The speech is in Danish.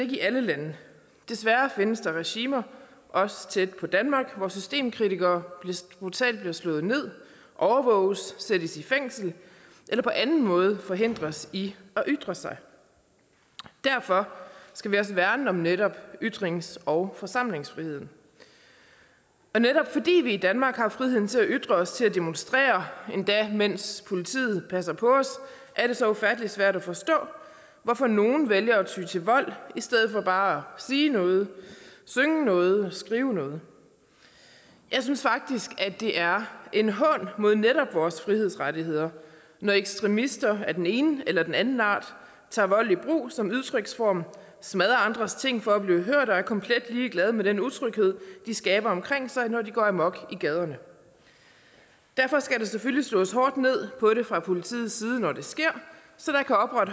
i alle lande desværre findes der regimer også tæt på danmark hvor systemkritikere brutalt bliver slået ned overvåges sættes i fængsel eller på anden måde forhindres i at ytre sig derfor skal vi også værne om netop ytrings og forsamlingsfriheden netop fordi vi i danmark har friheden til at ytre os og til at demonstrere endda mens politiet passer på os er det så ufattelig svært at forstå hvorfor nogle vælger at ty til vold i stedet for bare at sige noget synge noget eller skrive noget jeg synes faktisk det er en hån mod netop vores frihedsrettigheder når ekstremister af den ene eller den anden art tager vold i brug som udtryksform smadrer andres ting for at blive hørt og er komplet ligeglade med den utryghed de skaber omkring sig når de går amok i gaderne derfor skal der selvfølgelig slås hårdt ned på det fra politiets side når det sker så